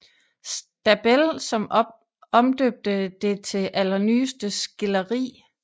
Stabell som omdøbte det til Allernyeste Skilderie